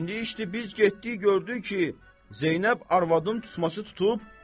İndi işdir, biz getdik gördük ki, Zeynəb arvadın tutması tutub.